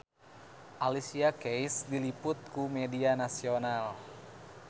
Alicia Keys diliput ku media nasional